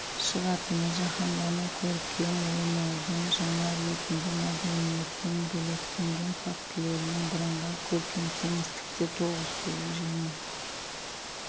шығатыны жаһандану көркем ойнаудың жаңа ретінде мәдениеттің бөлектенген фактілерінің бірыңғай көркем кеңістікте тоғысуы және